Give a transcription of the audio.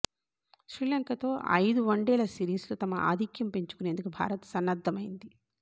శ్రీలంకతో ఐదు వన్డేల సిరీస్ లో తమ ఆధిక్యం పెంచుకునేందుకు భారత్ సన్నద్ధమైంది